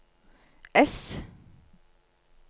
ess